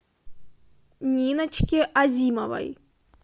ниночке азимовой